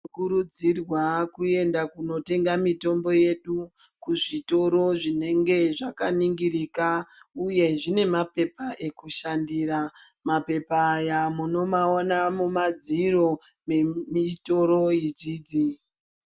Tinokurudzirwawo kuenda kundotenga mitombo yedu kuzvitoro Zvinenge zvakaningirika uye zvine mapepa ekushandira, mapepa aya munomaona mumadziro mezvitoro idzidzi.